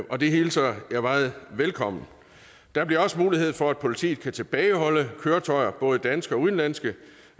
og det hilser jeg meget velkommen der bliver også mulighed for at politiet kan tilbageholde køretøjer både danske og udenlandske